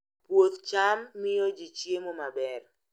Puoth cham miyo ji chiemo maber